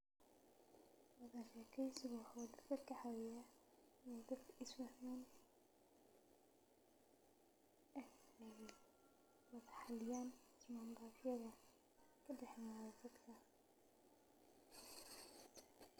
Wada shekeysiga dadka waxuu kacawiyaa inaay wada xaliyaan waxa kadaxeeyo dadka.